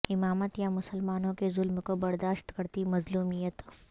امامت یا مسلمانوں کے ظلم کو برداشت کرتی مظلومیت